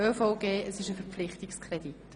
Es handelt sich um einen Verpflichtungskredit.